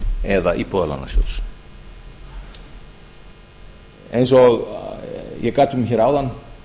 eða íbúðalánasjóðs eins og ég gat um hér áðan